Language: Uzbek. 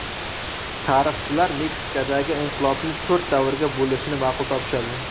Tarixchilar Meksikadagi inqilobni to‘rt davrga bo‘lishni ma’qul topishadi.